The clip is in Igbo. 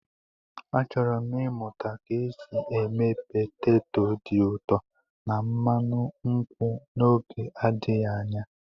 Achọrọ m ịmụta ka esi eme peteto dị ụtọ na mmanụ nkwụ n'oge adịghị anya.